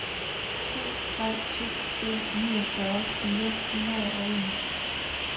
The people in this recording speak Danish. syv tre to fem enogfyrre fire hundrede og en